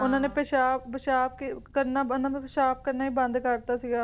ਉਨ੍ਹਾਂ ਨੇ ਪਿਸ਼ਾਬ ਪੇਸ਼ਾਬ ਕਰਨਾ ਉਨ੍ਹਾਂ ਦਾ ਪਿਸ਼ਾਬ ਕਰਨਾ ਹੀ ਬੰਦ ਕਰ ਦਿੱਤਾ ਸੀਗਾ